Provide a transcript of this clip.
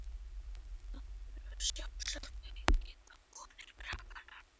Það hefur sjálfsagt aukið á vonir krakkanna.